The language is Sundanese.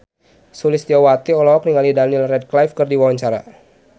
Sulistyowati olohok ningali Daniel Radcliffe keur diwawancara